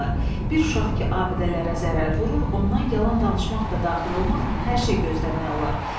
Bir uşaq ki, abidələrə zərər vurur, ondan yalan danışmaq da daxil olmaqla hər şey gözləmək olar.